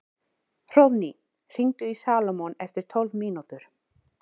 Hróðný, hringdu í Salómon eftir tólf mínútur.